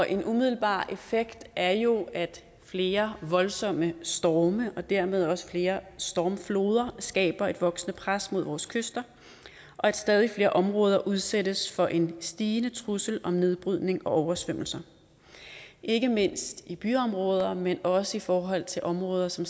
en umiddelbar effekt er jo at flere voldsomme storme og dermed også flere stormfloder skaber et voksende pres mod vores kyster og at stadig flere områder udsættes for en stigende trussel om nedbrydning og oversvømmelser ikke mindst i byområder men også i forhold til områder som